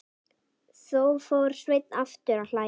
Þá fór Sveinn aftur að hlæja.